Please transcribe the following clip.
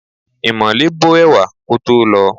Ìmole bó ẹ̀wà kótó lọ̀ọ́.